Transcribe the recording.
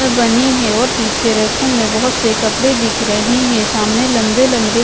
बनी है और पीछे रैको में बहोत से कपड़े दिख रहे हैं सामने लंबे लंबे--